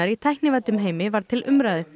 í tæknivæddum heimi var til umræðu